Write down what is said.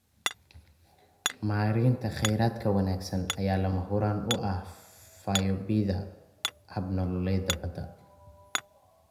Maareynta kheyraadka wanaagsan ayaa lama huraan u ah fayoobida hab-nololeedyada badda.